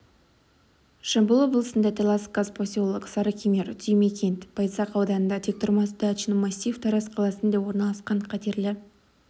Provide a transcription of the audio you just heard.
жамбыл облысында талас казпоселок сарыкемер түймекент байзақ ауданында тектұрмас дачный массив тараз қаласында орналасқан қатерлі